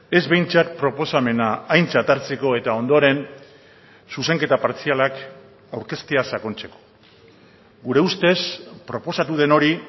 ez behintzat proposamena aintzat hartzeko eta ondoren zuzenketa partzialak aurkeztea sakontzeko gure ustez proposatu den hori